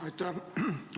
Aitäh!